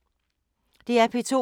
DR P2